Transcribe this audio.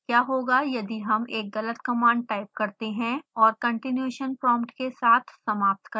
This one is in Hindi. क्या होगा यदि हम एक गलत कमांड टाइप करते हैं और continuation prompt के साथ समाप्त करते हैं